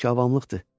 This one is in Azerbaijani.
Bu ki avamlıqdır.